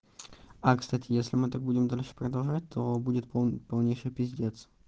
а кстати если мы так будем дальше продолжать то будет полнейший пиздец